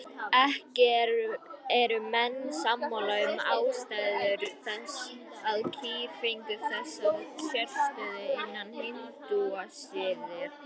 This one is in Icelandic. Ekki eru menn sammála um ástæður þess að kýr fengu þessa sérstöðu innan hindúasiðar.